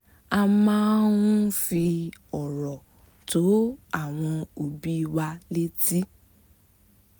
a máa ń fi ọ̀rọ̀ tó àwọn òbí wa létí